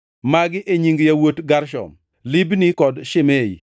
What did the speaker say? Magi e nying yawuot Gershon: Libni kod Shimei.